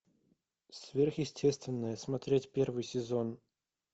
сверхъестественное смотреть первый сезон